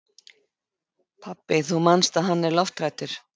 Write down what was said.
Pabbi, þú manst að hann er lofthræddur.